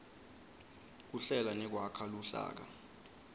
kuhlela nekwakha luhlaka